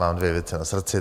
Mám dvě věci na srdci.